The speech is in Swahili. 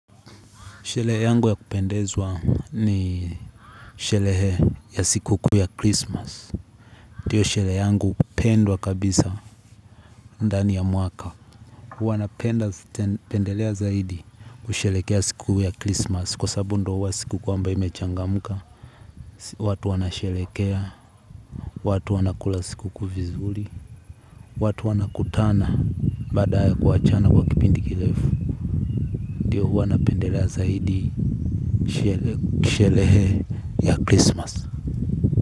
Sherehe yangu ya kupendezwa ni sherehe ya siku kuu ya Christmas. Ndio sherehe yangu pendwa kabisa ndani ya mwaka. Huwa napendelea zaidi kusherehekea siku ya Christmas. Kwa sababu ndio huwa siku kwamba imechangamka. Watu wanasherehekea, watu wana kula siku kuu vizuri. Watu wanakutana baada ya kuachana kwa kipindi kirefu. Ndio huwa napendelea zaidi sherehe ya Christmas.